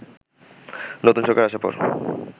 নতুন সরকার আসার পর